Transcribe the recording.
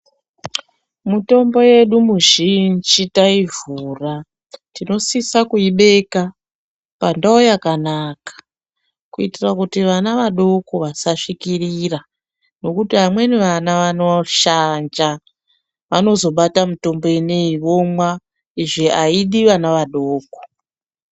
Mutombo yedu mizhinji taivhura tinosisa kuibeka pandau yakanaka kuitira kuti vana vadoko vasasvikira ngekuti vameni vana vanoshanja vanozobata mutombo ineiyi vomwa izvo aidi vana vadoko.